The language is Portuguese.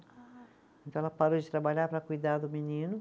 Ai. Então ela parou de trabalhar para cuidar do menino.